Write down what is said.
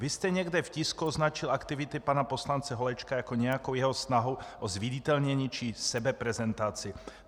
Vy jste někde v tisku označil aktivity pana poslance Holečka jako nějakou jeho snahu o zviditelnění či sebeprezentaci.